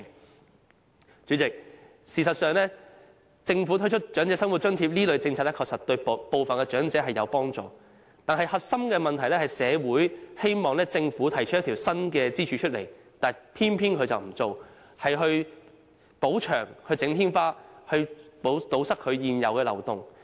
代理主席，事實上，政府推出長者生活津貼這類政策確實對部分長者有幫助，但核心問題是社會希望政府設立一根新支柱，而政府卻偏偏不這樣做，只是修補牆壁和天花板，以堵塞現有漏洞。